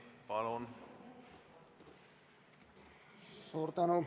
Palun!